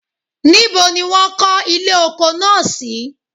nibo ni won ko ile oko naa si?.